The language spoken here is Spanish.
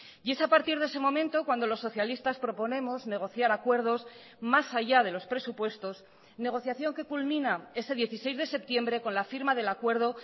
y es a partir de ese momento cuando los socialistas proponemos negociar acuerdos más allá de los presupuestos negociación que culmina ese dieciséis de septiembre con la firma del acuerdo